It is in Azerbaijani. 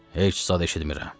Heç zad eşitmirəm.